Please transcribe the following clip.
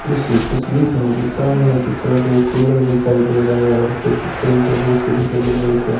इस तस्वीर को मुझे सामने की तरफ एक कूलर दिखाई दे रहा है और कुछ फ्रिज जैसे दिखाई दे रहा है एक --